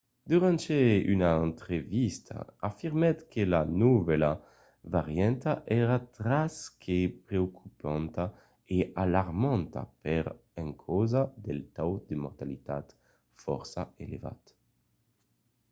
durant una entrevista afirmèt que la novèla varianta èra tras que preocupanta e alarmanta per encausa del taus de mortalitat fòrça elevat.